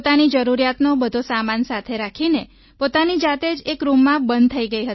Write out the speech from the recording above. પોતાની જરૂરિયાતનો બધો સામાન સાથે રાખીને પોતાની જાતે જ એક રૂમમાં બંધ થઈ ગઈ હતી